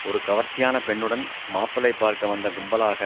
ஒரு கவர்ச்சியான பெண்ணுடன் மாப்பிள்ளை பார்க்க வந்த கும்பலாக